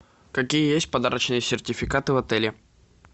какие есть подарочные сертификаты в отеле